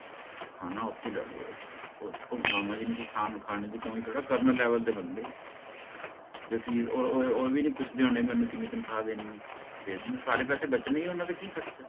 ਖਾਣਾ ਓਥੇ ਲੈ ਅਹ ਅਹ ਮਾਮਾ ਜੀ ਨੂੰ ਕੋਈ ਖਾਣ ਖਾਣੇ ਦੀ ਕਮੀ ਥੋੜ੍ਹਾ ਕਰਨਲ level ਦੇ ਬੰਦੇ ਹੈ ਤੇ ਫਿਰ ਓਹ ਓਹ ਓਹਵੀ ਨਹੀਂ ਪੁੱਛਦੇ ਵੀ ਓਹਨਾ ਨੇ ਮੈਨੂੰ ਕਿੰਨੀ ਤਨਖਾਹ ਦੇਣੀ ਹੈ ਦੇ ਦਿੰਦੇ ਹੈ ਸਾਰੇ ਪੈਸੇ ਬਚਣੇ ਹੀ ਹੈ ਓਹਨਾਂ ਦਾ ਕੀ ਖਰਚਾ ਹੈ